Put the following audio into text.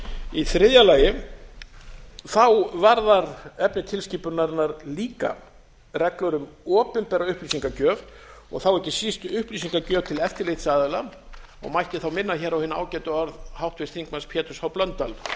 í þriðja lagi varðar efni tilskipunarinnar líka reglur um opinbera upplýsingagjöf og þá ekki síst upplýsingagjöf til eftirlitsaðila og mætti þá minna hér á hin ágætu orð háttvirts þingmanns péturs h blöndals